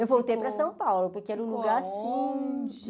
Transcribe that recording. Eu voltei para São Paulo, porque era um lugar assim... Ficou longe?